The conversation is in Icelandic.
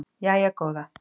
Jæja góða